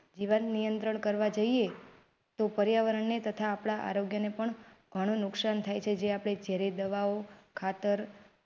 જીવન નિયંત્રણ કરવા જઇએ તો પર્યાવરણને તથા આપણા આરોગ્યને પણ ઘણું નુકસાન થાય છે. જે આપણે ઝેરી દવાઓ ખાતર.